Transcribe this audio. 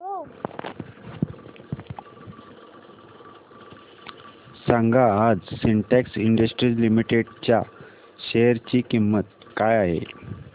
सांगा आज Syntex industries limited च्या शेअर ची किंमत काय आहे